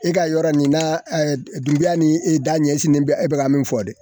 E ka yɔrɔ nin na duguba ni e da ɲɛsinlen bɛ e bɛ ka min fɔ dɛ